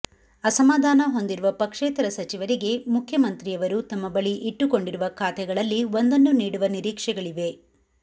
ಅಸಮಾಧಾನ ಹೊಂದಿರುವ ಪಕ್ಷೇತರ ಸಚಿವರಿಗೆ ಮುಖ್ಯಮಂತ್ರಿಯವರು ತಮ್ಮ ಬಳಿ ಇಟ್ಟುಕೊಂಡಿರುವ ಖಾತೆಗಳಲ್ಲಿ ಒಂದನ್ನು ನೀಡುವ ನಿರೀಕ್ಷೆಗಳಿವೆ